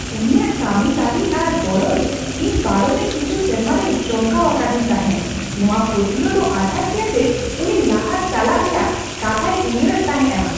ᱩᱱᱤᱭᱟᱜ ᱠᱟᱹᱢᱤ ᱛᱟᱹᱨᱤ ᱟᱨ ᱜᱚᱨᱚᱡ ᱤᱧ ᱯᱟᱨᱚᱢᱮᱱ ᱠᱤᱪᱷᱤ ᱥᱮᱨᱢᱟ ᱨᱮᱭ ᱪᱚᱢᱠᱟᱣ ᱟᱠᱟᱫᱤᱧ ᱛᱟᱦᱮᱸᱜ; ᱱᱚᱶᱟ ᱯᱟᱹᱛᱭᱟᱹᱣ ᱫᱚ ᱟᱡᱷᱟᱴᱟ ᱜᱮᱭᱟ ᱡᱮ ᱩᱱᱤ ᱞᱟᱦᱟ ᱪᱟᱞᱟᱜ ᱨᱮᱭᱟᱜ ᱠᱟᱛᱷᱟᱭ ᱩᱭᱦᱟᱹᱨᱮᱫ ᱛᱟᱦᱮᱸᱜᱼᱟ᱾